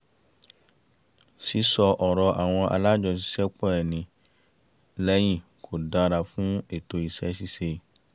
sísọ ọ̀rọ̀ àwọn alájọṣiṣẹ́pọ̀ ẹni lẹ́yìn kò dára fún ètò iṣẹ́ ṣíṣe